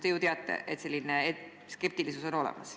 Te ju teate, et selline skeptilisus on olemas.